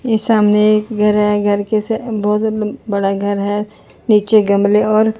ये सामने एक घर है घर कैसे बहुत बड़ा घर है नीचे गमले और--